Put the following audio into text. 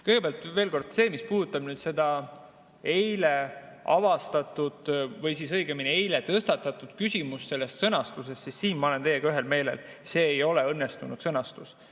Kõigepealt, veel kord, mis puudutab nüüd seda eile avastatud või õigemini eile tõstatatud küsimust, siis siin ma olen teiega ühel meelel: see ei ole õnnestunud sõnastus.